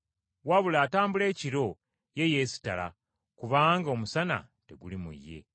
Wabula atambula ekiro ye yeesittala, kubanga omusana teguli mu ye.”